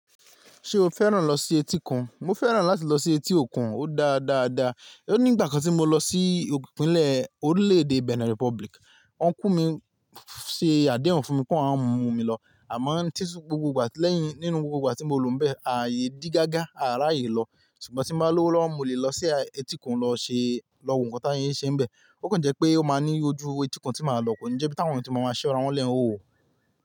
Ṣé o fẹ́ràn lọ sí etíkun? Mo fẹ́ràn láti lọ sí etí òkun, ó dáa dáa dáa. Ó ní ìgbà kan tí mo lọ sí ipinlẹ orilẹ-ede Benin Republic, ọnkú mi ṣe àdéhùn fún mi pé awọ́n a mú mi lọ. Àmọ́ gbogbo ìgbà lẹ́yìn nínú gbogbo ìgbà tí mo lọ bẹ́ẹ̀, ààyè dí gágá, àraàyè lọ. Ṣùgbọ́n tí n bá lowo lọ́wọ́, mo lè lọ sí etíkun lọ ṣe lọ wo nǹkan tí wọ́n ṣe ń bẹ. Ó kàn jẹ́ pé ó máa ní ojú etíkun tí màá lọ. Koni jẹ́ bí táwọn èèyàn ti máa ma ṣirá wọ́n lẹ ìhòòhò.